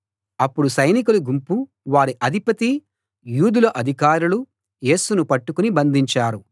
అప్పుడు సైనికుల గుంపు వారి అధిపతీ యూదుల అధికారులు యేసును పట్టుకుని బంధించారు